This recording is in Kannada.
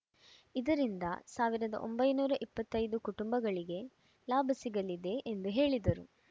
ಇದರಿಂದ ಸಾವಿರದ ಒಂಬೈನೂರ ಇಪ್ಪತ್ತ್ ಐದು ಕುಟುಂಬಗಳಿಗೆ ಲಾಭ ಸಿಗಲಿದೆ ಎಂದು ಹೇಳಿದರು